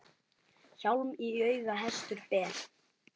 Hjálm í auga hestur ber.